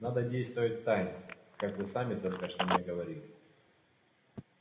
надо действовать втайне как вы сами только что мне говорили